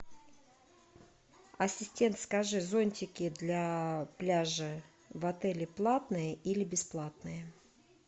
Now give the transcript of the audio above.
ассистент скажи зонтики для пляжа в отеле платные или бесплатные